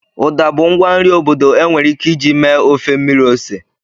Uda bụ ngwa nri obodo enwere ike iji mee ofe mmiri ose.